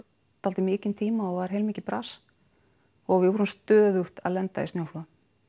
dálítið mikinn tíma og var heilmikið bras og við vorum stöðugt að lenda í snjóflóðum